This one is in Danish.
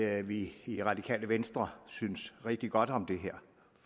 at vi i radikale venstre synes rigtig godt om det her